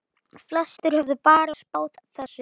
Flestir höfðu bara spáð þessu.